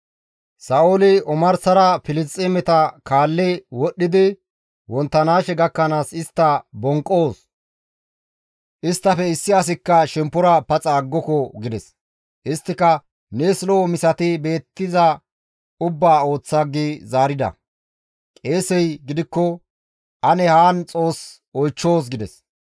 Sa7ooli, «Omarsara Filisxeemeta kaalli wodhdhidi wonttanaashe gakkanaas istta bonqqoos; isttafe issi asikka shemppora paxa aggoko» gides. Isttika, «Nees lo7o misati beettiza ubbaa ooththa» gi zaarida. Qeesey gidikko, «Ane haan Xoos oychchoos» gides.